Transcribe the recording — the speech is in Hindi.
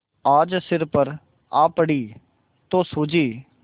आज सिर पर आ पड़ी तो सूझी